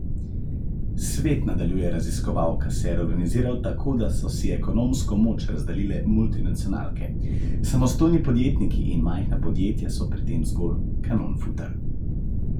Svet, nadaljuje raziskovalka, se je reorganiziral tako, da so si ekonomsko moč razdelile multinacionalke: 'Samostojni podjetniki in majhna podjetja so pri tem zgolj 'kanonfuter'.